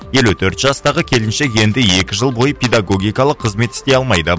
елу төрт жастағы келіншек енді екі жыл бойы педагогикалық қызмет істей алмайды